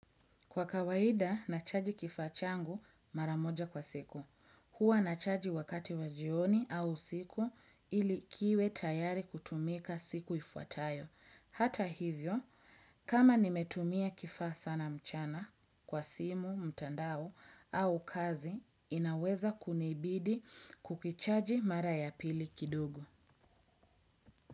Kwa kawaida, nachaji kifaa changu mara moja kwa siku. Huwa nachaji wakati wa jioni au usiku ili kiwe tayari kutumika siku ifuatayo. Hata hivyo, kama nimetumia kifaa sana mchana kwa simu, mtandao au kazi, inaweza kunibidi kukichaji mara ya pili kidogo.